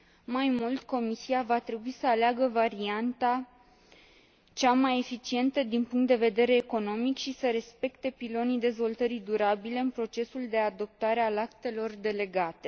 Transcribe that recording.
Mai mult, Comisia va trebui să aleagă varianta cea mai eficientă din punct de vedere economic și să respecte pilonii dezvoltării durabile în procesul de adoptare a actelor delegate.